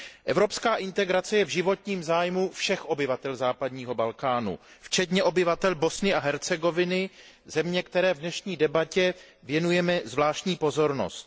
Evropská integrace je v životním zájmu všech obyvatel západního Balkánu včetně obyvatel Bosny a Hercegoviny, země, které v dnešní debatě věnujeme zvláštní pozornost.